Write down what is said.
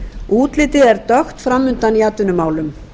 útlitið er dökkt fram undan í atvinnumálum